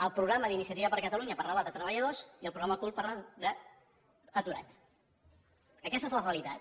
el programa d’iniciativa per catalunya parlava de treballadors i el programa ocult parla d’aturats aquesta és la realitat